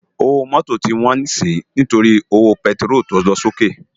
Ówó mòtó ti wòn si nitóri ówó pètiról tó lòsóké si